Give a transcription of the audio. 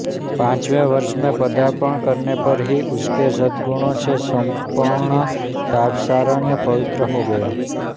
पाँचवें वर्ष में पदार्पण करने पर ही उसके सद्गुणों से सम्पूर्ण तापसारण्य पवित्र हो गया